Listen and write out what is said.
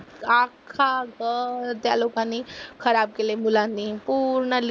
त्या लोकांनी खराब केले मुलांनी. पूर्ण